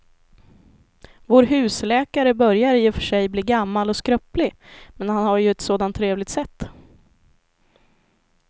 Vår husläkare börjar i och för sig bli gammal och skröplig, men han har ju ett sådant trevligt sätt!